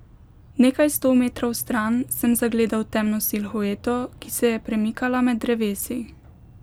Nekaj sto metrov stran sem zagledal temno silhueto, ki se je premikala med drevesi.